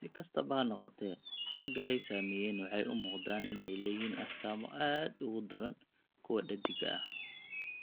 Si kastaba ha noqotee, ragga ay saameeyeen waxay u muuqdaan inay leeyihiin astaamo aad uga daran kuwa dheddigga ah.